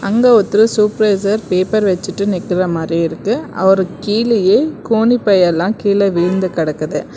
அங்க ஒருத்தர் supervisor paper வச்சிட்டு நிக்கிற மாரி இருக்கு அவரு கீழயே கோணிப்பை எல்லா கீழே விழுந்து கெடக்குது.